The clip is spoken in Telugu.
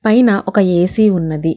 పైన ఒక ఏ_సి ఉన్నది.